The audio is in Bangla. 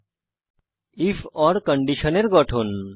আইএফ ওর কন্ডিশনের গঠন